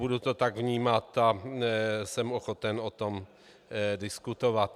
Budu to tak vnímat a jsem ochoten o tom diskutovat.